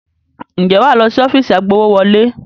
Ǹjẹ́ wà á lọ sí ọ́fíìsì agbowówọlé?